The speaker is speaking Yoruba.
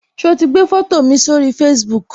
So ti gbé foto mi sórí Facebook